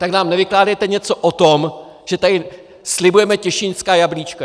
Tak nám nevykládejte něco o tom, že tady slibujeme těšínská jablíčka!